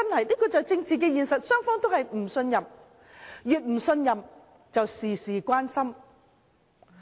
這就是政治現實，雙方都互不信任，越不信任便"事事關心"。